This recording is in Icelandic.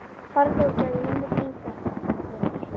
Farðu og gefðu mömmu þinni þetta vinur.